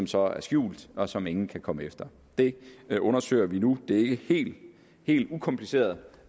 så er skjult og som ingen kan komme efter det det undersøger vi nu det er ikke helt helt ukompliceret